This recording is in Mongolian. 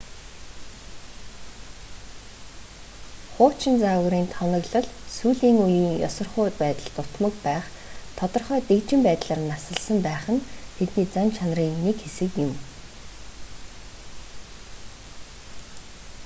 хуучин загварын тоноглол сүүлийн үеийн ёсорхуу байдал дутмаг байх тодорхой дэгжин байдлаар насалсан байх нь тэдний зан чанарын нэг хэсэг юм